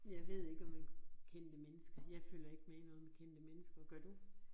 Jeg ved ikke, om med kendte mennesker, jeg følger ikke med i noget med kendte mennesker, gør du?